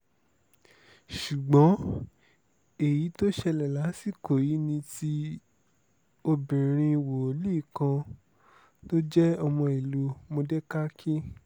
ṣùgbọ́n èyí tó ṣẹlẹ̀ lásìkò yìí ni ti obìnrin wòlíì kan tó jẹ́ ọmọ ìlú módékákì